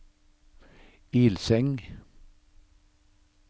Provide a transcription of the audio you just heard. Ilseng